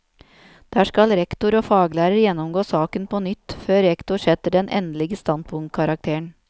Der skal rektor og faglærer gjennomgå saken på nytt, før rektor setter den endelige standpunktkarakteren.